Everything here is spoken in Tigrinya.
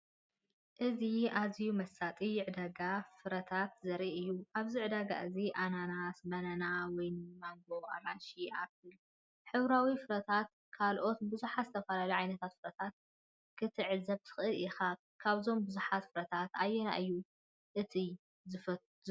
እዚ ኣዝዩ መሳጢ ዕዳጋ ፍረታት ዘርኢ እዩ። ኣብዚ ዕዳጋ እዚ፡ ኣናናስ፡ ባናና፡ ወይኒ፡ ማንጎ፡ኣራንሺ፡ ኣፕል፡ ሕብራዊ ፍረታትን ካልእ ብዙሕ ዝተፈላለየ ዓይነት ፍረታትን ክትዕዘብ ትኽእል ኢኻ። ካብዞም ብዙሓት ፍረታት ኣየናይ እዩ እቲ ዝፈትዎ?